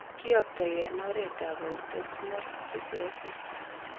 Kiyoptoi en oret ab autosmal recessive